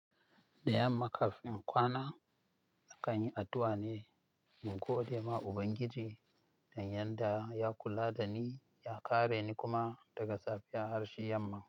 Da yamma kafin kwana, akanyi addu'a ne mu gode ma Ubangiji da yanda ya kula dani ya kare ni kuma daga safiyar har shi yamma.